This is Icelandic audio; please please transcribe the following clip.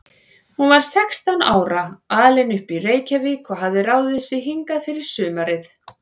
Hún var sextán ára, alin upp í Reykjavík og hafði ráðið sig hingað fyrir sumarið.